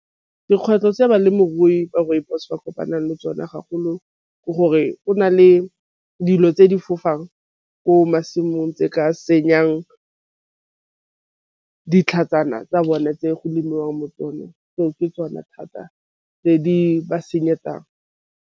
Dikgwetlho tse balemirui ba rooibos ba kopanang le tsone ke gore go na le dilo tse di fofang ko masimong tse ka senyang ditlhatsana tsa bone tse go lemiwang mo tsona go ke tsona thata tse di .